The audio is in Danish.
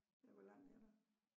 Ja hvor langt er der?